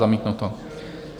Zamítnuto.